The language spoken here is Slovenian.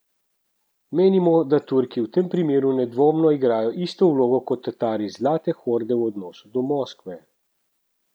Menimo, da Turki v tem primeru nedvomno igrajo isto vlogo kot Tatari Zlate horde v odnosu do Moskve.